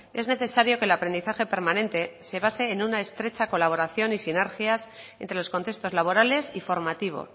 es necesario que el aprendizaje permanente se base en una estrecha colaboración y sinergias entre los contextos laborales y formativo